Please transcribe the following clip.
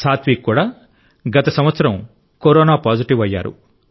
సాత్విక్ కూడా గత సంవత్సరం కరోనా పాజిటివ్ అయ్యారు